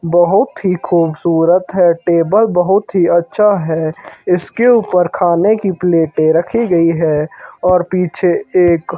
बहुत ही खूबसूरत है टेबल बहुत ही अच्छा है इसके ऊपर खाने की प्लेटें रखी गई है और पीछे एक--